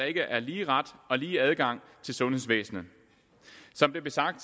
ikke er lige ret og lige adgang til sundhedsvæsenet som det blev sagt